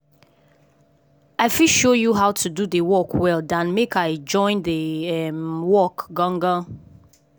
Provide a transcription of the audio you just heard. i fit show you how to do the work well dan make i join the um work gan gan.